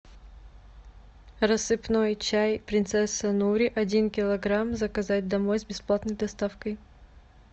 рассыпной чай принцесса нури один килограмм заказать домой с бесплатной доставкой